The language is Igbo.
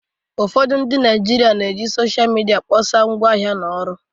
ụfọdụ Naijiria na-eji Sọsha midia kpọsaa ngwaahịa na ọrụ